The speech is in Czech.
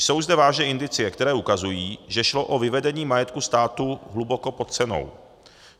Jsou zde vážné indicie, které ukazují, že šlo o vyvedení majetku státu hluboko pod cenou.